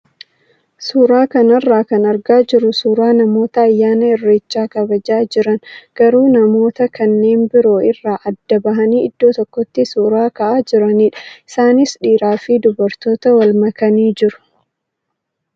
Suuraa kanarraa kan argaa jirru suuraa namoota ayyaana irreecha kabajaa jiran garuu namoota kanneen biroo irraa adda bahanii iddoo tokkotti suuraa ka'aa jiranidha. Isaanis dhiiraa fi dubaroota wal makanii jiru.